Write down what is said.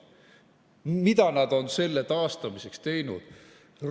Mida nad on selle taastamiseks teinud?